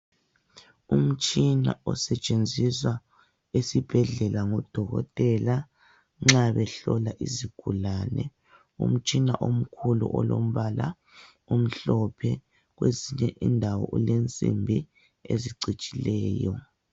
Umtshina osetshenziswa esibhedlela ngodokotela nxa behlola isigulane, umtshina omkhulu olombala omhlophe kwezinye indawo ulensimbi ezicijileyo.